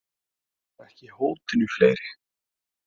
Og ekki hótinu fleiri.